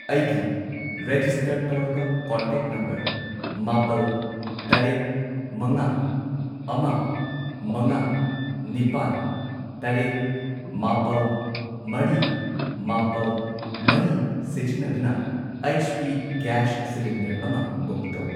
ꯑꯩꯒꯤ ꯔꯦꯖꯤꯁꯇꯔ ꯇꯧꯔꯕ contact number ꯃꯥꯄꯜ, ꯇꯔꯦꯠ, ꯃꯉꯥ, ꯑꯃ, ꯃꯉꯥ, ꯅꯤꯄꯥꯟ, ꯇꯔꯦꯠ, ꯃꯥꯄꯜ, ꯃꯔꯤ, ꯃꯥꯄꯜ, ꯃꯔꯤ ꯁꯤꯖꯤꯟꯅꯗꯨꯅ ꯑꯩꯆ.ꯄꯤ. ꯒꯦꯁ ꯁꯤꯂꯤꯟꯗꯔ ꯑꯃ ꯕꯨꯛ ꯇꯧ꯫